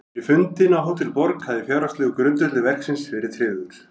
Fyrir fundinn á Hótel Borg hafði fjárhagslegur grundvöllur verksins verið tryggður.